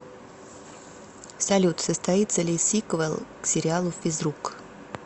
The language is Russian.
салют состоится ли сиквел к сериалу физрук